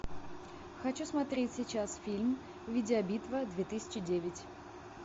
хочу смотреть сейчас фильм видеобитва две тысячи девять